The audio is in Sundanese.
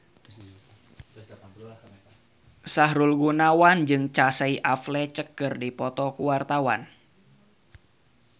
Sahrul Gunawan jeung Casey Affleck keur dipoto ku wartawan